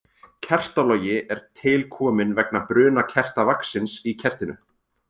Kertalogi er til kominn vegna bruna kertavaxins í kertinu.